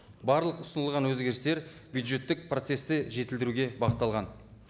барлық ұсынылған өзгерістер бюджеттік процессті жетілдіруге бағытталған